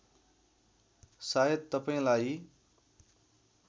सायद तपाईँलाई